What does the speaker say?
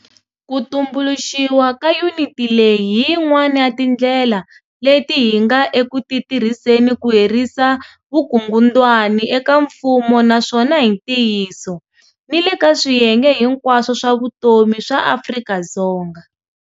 Ku tumbuluxiwa ka yuniti leyi hi yin'wana ya tindlela leti hi nga eku ti tirhiseni ku herisa vukungundwani eka mfumo naswona hi ntiyiso, ni le ka swiyenge hinkwaswo swa vutomi swa Afrika-Dzonga.